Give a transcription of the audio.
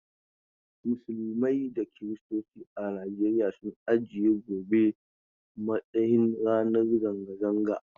Musulmai da kirstoci a Najeriya sun aje gobe a matsayin ranar zanga-zanga.